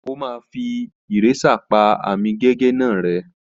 Ó má fí ìrésà pá àmì gègé náà rẹ